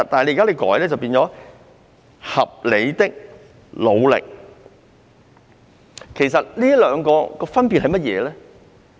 有關語句現修訂為"合理的努力"，究竟兩者有何分別？